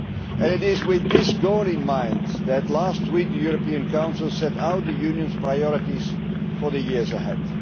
And it is with this goal in mind that, last week, the European Council set out the Union's priorities for the years ahead.